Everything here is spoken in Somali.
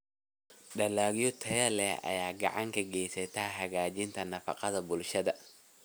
Dalagyo tayo leh ayaa gacan ka geysta hagaajinta nafaqada bulshada.